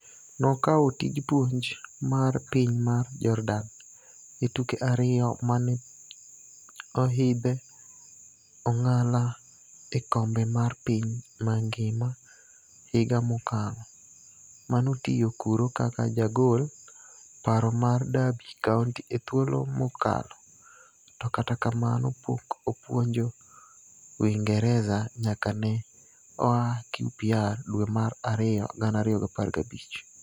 Nokawo tij puonj mar piny mar Jordan,e tuke ariyo mane ohidhe ong'ala e okombe mar piny mangima higa mokalo, manotiyo kuro kaka jagol paro mar Derby County e thuolo mokalo, to kata kamano pok opuonjo Uingereza nyaka ne oa QPR dwe mar ariyo 2015